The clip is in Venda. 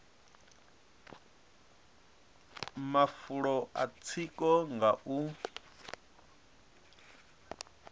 mafulo a tsiko nga u